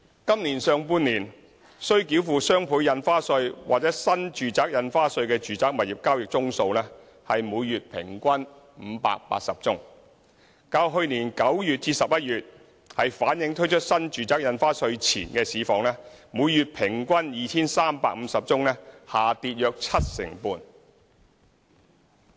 今年上半年，須繳付雙倍印花稅或新住宅印花稅的住宅物業交易宗數為每月平均580宗，較去年9月至11月推出新住宅印花稅前的每月平均 2,350 宗下跌約七成半。